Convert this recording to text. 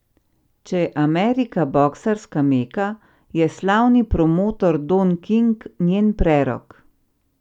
Če je Amerika boksarska meka, je slavni promotor Don King njen prerok.